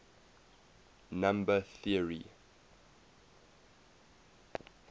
number theory